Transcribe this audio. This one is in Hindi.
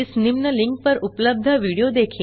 इस निम्न लिंक पर उपलब्ध विडियो देखें